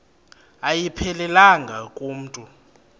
ayiphelelanga ku mntu